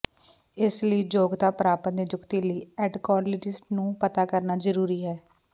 ਇਸ ਲਈ ਯੋਗਤਾ ਪ੍ਰਾਪਤ ਨਿਯੁਕਤੀ ਲਈ ਐਂਡੋਕਰੀਨੋਲੋਜਿਸਟ ਨੂੰ ਪਤਾ ਕਰਨਾ ਜ਼ਰੂਰੀ ਹੈ